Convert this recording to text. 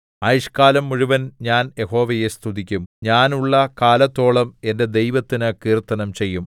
ആയുഷ്ക്കാലം മുഴുവൻ ഞാൻ യഹോവയെ സ്തുതിക്കും ഞാൻ ഉള്ള കാലത്തോളം എന്റെ ദൈവത്തിനു കീർത്തനം ചെയ്യും